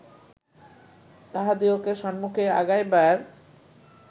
তাহাদিগকে সম্মুখে আগাইবার